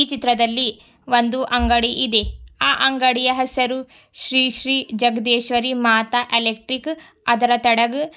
ಈ ಚಿತ್ರದಲ್ಲಿ ಒಂದು ಅಂಗಡಿ ಇದೆ ಅ ಅಂಗಡಿಯ ಹೆಸರು ಶ್ರೀ ಶ್ರೀ ಜಗದೀಶ್ವರಿ ಮಾತಾ ಎಲೆಕ್ಟ್ರಿಕಲ್ ಅದರ ಕೇಳಗ --